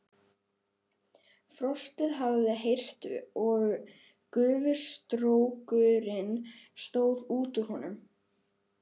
Frostið hafði hert og gufustrókurinn stóð út úr honum.